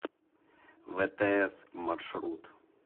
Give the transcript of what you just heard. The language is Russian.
втс маршрут